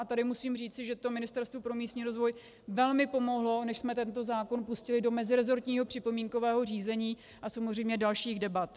A tady musím říci, že to Ministerstvu pro místní rozvoj velmi pomohlo, než jsme tento zákon pustili do meziresortního připomínkového řízení a samozřejmě dalších debat.